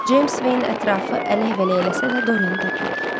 Ceyms Veyn ətrafı ələk-vələk eləsə də Doryanı tapmadı.